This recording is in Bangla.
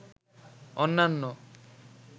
অন্যান্য